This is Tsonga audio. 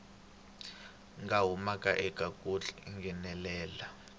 nga humaka eka ku nghenelela